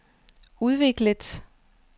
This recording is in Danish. udviklet